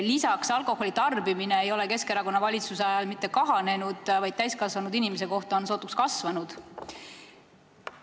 Lisaks ei ole alkoholitarbimine Keskerakonna valitsuse ajal mitte kahanenud, vaid täiskasvanud inimese kohta sootuks kasvanud.